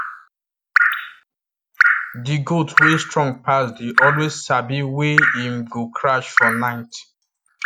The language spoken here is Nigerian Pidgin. the goat wey strong pass dey always sabi wey him go crash for night